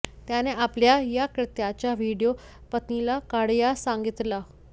त्याने आपल्या या कृत्याचा व्हिडिओ पत्नीला काढण्यास सांगितला